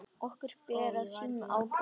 Okkur ber að sýna ábyrgð.